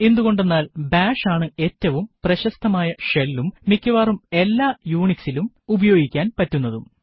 എന്തുകൊണ്ടെന്നാൽ ബാഷ് ആണ് ഏറ്റവും പ്രശസ്തമായ shellഉം മിക്കവാറും എല്ലാ UNIXലും ഉപയോഗിക്കാൻ പറ്റുന്നതും